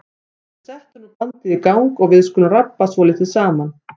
En settu nú bandið í gang og við skulum rabba svolítið saman.